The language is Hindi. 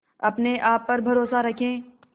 अपने आप पर भरोसा रखें